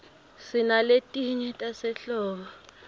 sinaletinye tasehlobo